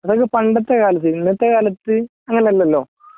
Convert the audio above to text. അതൊക്കെ പണ്ടത്തേ കാലത്തു ഇന്നത്തെ കാലത്തു അങ്ങനെയല്ലല്ലോ?